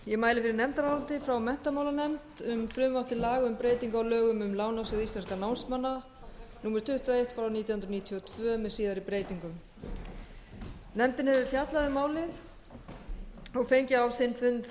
ég mæli fyrir nefndaráliti frá menntamálanefnd um frumvarp til laga um breytingu á lögum um lánasjóð íslenskum námsmanna númer tuttugu og eitt nítján hundruð níutíu og tvö með síðari breytingum nefndin hefur fjallað um málið og fengið á sinn fund